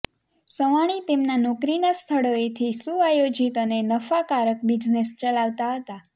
સવાણી તેમના નોકરીના સ્થળોએથી સુઆયોજિત અને નફાકારક બિઝનેસ ચલાવતા હતા